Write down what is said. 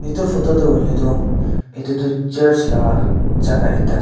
etu photo tho hoilae tho etu tho church laka jaka ekta ase.